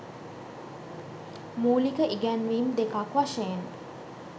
මූලික ඉගැන්වීම් දෙකක් වශයෙන්